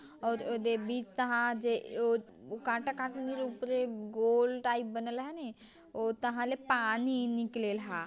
और औ दे बीच तहां जे औद कांटा कांटा नी उपरे गोल टाइप बनल हनी औ तहां ले पानी निकलेल हा।